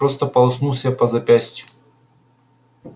просто полоснул себя по запястью